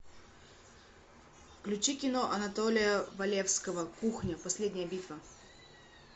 включи кино анатолия валевского кухня последняя битва